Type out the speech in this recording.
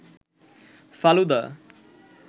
falooda